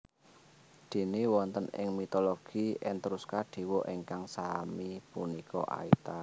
Déné wonten ing mitologi Etruska dewa ingkang sami punika Aita